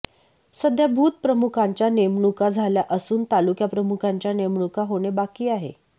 सध्या बूथ प्रमुखांच्या नेमणुका झाल्या असून तालुकाप्रमुखांच्या नेमणुका होणे बाकी आहे